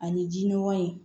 Ani ji nɔgɔ in